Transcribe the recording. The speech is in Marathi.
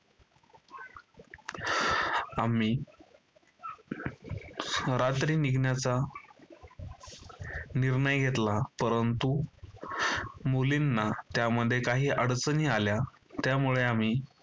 आम्ही रात्री निघण्याचा निर्णय घेतला, परंतु मुलींना त्यामध्ये काही अडचणी आल्या. त्यामुळे आम्ही